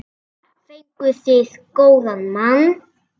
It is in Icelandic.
Þar fenguð þið góðan mann.